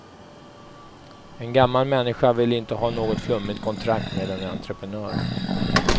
En gammal människa vill inte ha något flummigt kontrakt med en entreprenör.